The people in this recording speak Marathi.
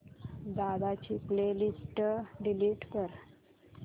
दादा ची प्ले लिस्ट डिलीट कर